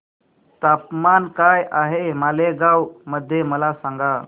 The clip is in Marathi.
तापमान काय आहे मालेगाव मध्ये मला सांगा